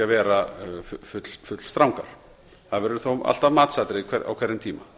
vera fullstrangar það verður þó alltaf matsatriði á hverjum tíma